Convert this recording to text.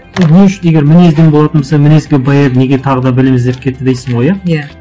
егер мінезден болатын болса мінезге бай ел неге тағы да білім іздеп кетті дейсің ғой иә